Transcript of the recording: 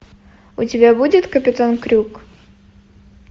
у тебя будет капитан крюк